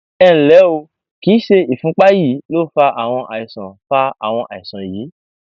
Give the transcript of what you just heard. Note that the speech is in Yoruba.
ẹnlẹ o kìí ṣe ìfúnpá yín ló fa àwọn àìsàn fa àwọn àìsàn yìí